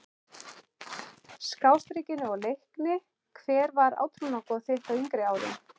Skástrikinu og Leikni Hver var átrúnaðargoð þitt á yngri árum?